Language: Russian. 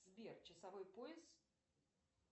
сбер часовой пояс